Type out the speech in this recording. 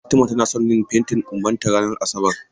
Fatima tana son yin fentin ƙumbanta ranar Asabar.